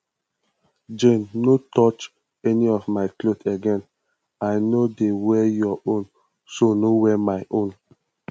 jane no touch any of my clothes again i no dey wear your own so no wear my own